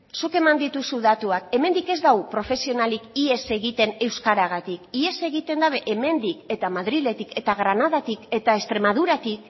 zuk eman dituzu datuak hemendik ez du profesionalik ihes egiten euskaragatik ihes egiten dute hemendik eta madriletik eta granadatik eta extremaduratik leku